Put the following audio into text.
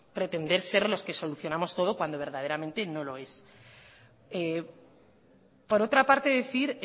pretender ser lo que solucionamos todo cuando verdaderamente no lo es por otra parte decir